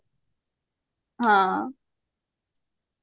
ହଁ